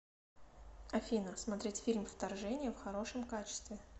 афина смотреть фильм вторжение в хорошем качестве